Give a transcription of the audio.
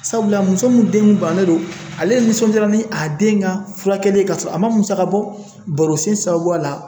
Sabula muso min den kun bananen don ale nisɔndiyara ni a den ka furakɛli ka sɔrɔ a ma musakabɔ baaro sen sababu la